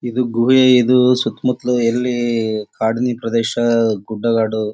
ಇದು ಗುಹೆ ಇದು ಸುತ್ತಮುತ್ತಲು ಎಲ್ಲಿ ಕಾಡನಿ ಪ್ರದೇಶ ಗುಡ್ಡ ಗಾಡು--